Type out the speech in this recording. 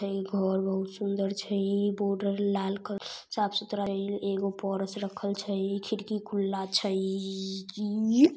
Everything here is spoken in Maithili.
यह घर बहुत सुंदर छे ए बॉर्डर लाल कलर से रंग से बहुत साफ सुथरा जगह छे अग पारस राखल छे एक खिड़की खुला छे।